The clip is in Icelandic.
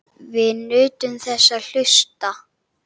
Við nutum þess að hlusta.